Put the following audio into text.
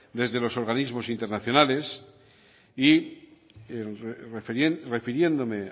desde los organismos internacionales y refiriéndome